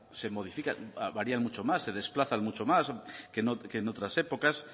se modifican varían mucho más se desplazan mucho más que en otras épocas